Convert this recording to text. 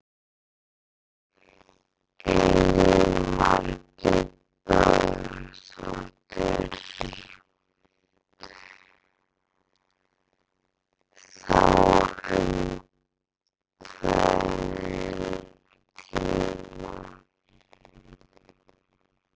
Elín Margrét Böðvarsdóttir: Þá um óákveðinn tíma?